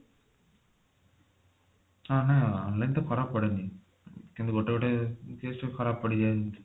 ହଁ ମାନେ online ତ ଖରାପ ପଡେନି କିନ୍ତୁ ଗୋଟେ ଗୋଟେ case ରେ ଖରାପ ପଡିଯାଏ ଯେ